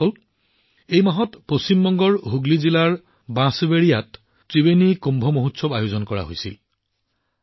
বন্ধুসকল এই মাহত পশ্চিম বংগৰ হুগলী জিলাৰ বনচবেৰিয়াত ত্ৰিবেণী কুম্ভ মহোৎসৱ আয়োজন কৰা হৈছিল